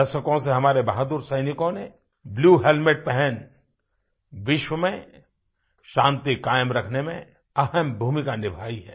दशकों से हमारे बहादुर सैनिकों ने ब्लू हेलमेट पहन विश्व में शांति कायम रखने में अहम भूमिका निभाई है